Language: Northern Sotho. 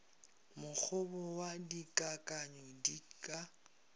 mokgobo wa dikakanyo di ka